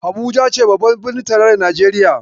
Habuja ce babbar birnin tarayyar Najeriya.